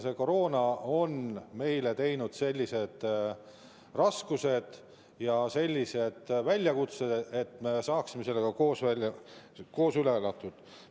Koroona on meile tekitanud raskusi ja väljakutseid, me peaksime selle aja saama koos üle elatud.